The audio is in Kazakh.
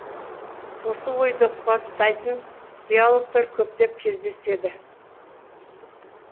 осы ойды қуаттайтын диалогтар көптеп кездеседі